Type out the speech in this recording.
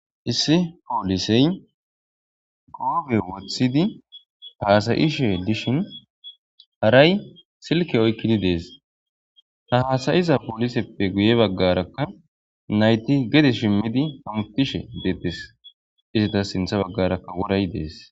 Issi poolisey goobe wothidi haasayishe dishin haray silke oykkidi dees ha hasayiza pooliseppe guye baggarakka nayti gede shimmidi hamutishe deettes izita sintha baggarakka woray dees